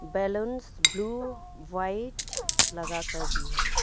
Balloons blue white लगाकर भी है।